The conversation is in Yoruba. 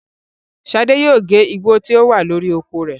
Ṣadé yóò gé Igbo tí ó wà lórí oko rẹ̀.